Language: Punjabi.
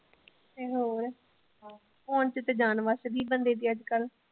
ਤੇ ਹੋਰ phone ਵਿੱਚ ਤਾ ਜਾਨ ਵੱਸਦੀ ਬੰਦੇ ਦੀ ਅੱਜਕੱਲ।